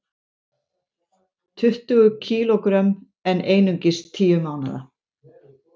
Tuttugu kg en einungis tíu mánaða